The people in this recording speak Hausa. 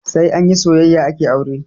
Sai anyi soyayya ake aure